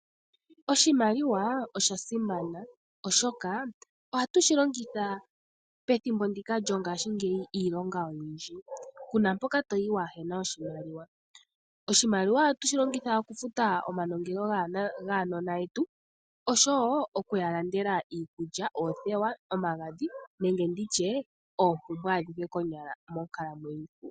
Oshimaliwa osha simana oshoka oha tu shi longitha pethimbo ndika lyongashingeyi iilonga oyindji. Ku na mpoka to yi waahe na oshimaliwa. Oshimaliwa oha tu shi longitha okufuta omanongelo gaanona yetu, osho wo oku ya landela iikulya, oothewa, omagadhi nenge ndi tye oompumbwe adhihe konyala monkalamwenyo.